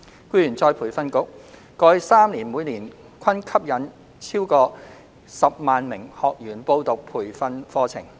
僱員再培訓局過去3年每年均吸引逾10萬名學員報讀培訓課程。